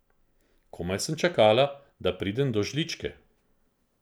Komaj sem čakala, da pridem do žličke.